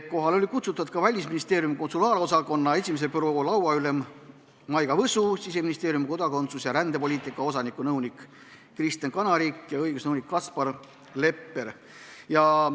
Kohale olid kutsutud ka Välisministeeriumi konsulaarosakonna 1. büroo lauaülem Maiga Võsu, Siseministeeriumi kodakondsus- ja rändepoliitika osakonna nõunik Kristen Kanarik ja õigusnõunik Kaspar Lepper.